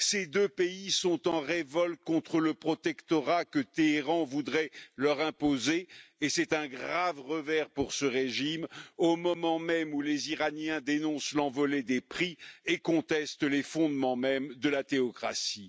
Ces deux pays sont en révolte contre le protectorat que Téhéran voudrait leur imposer et c'est un grave revers pour ce régime au moment même où les Iraniens dénoncent l'envolée des prix et contestent les fondements mêmes de la théocratie.